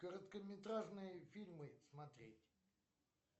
короткометражные фильмы смотреть